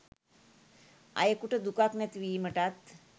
අයකුට දුකක් නැති වීමටත්